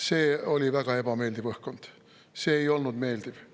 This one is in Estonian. See oli väga ebameeldiv õhkkond, see ei olnud meeldiv.